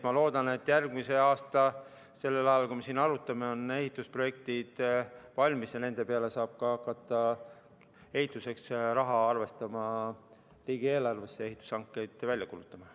Ma loodan, et järgmine aasta sellel ajal, kui me siin arutame, on ehitusprojektid valmis ja ehitamiseks saab hakata arvestama raha riigieelarvesse ja ehitushankeid välja kuulutama.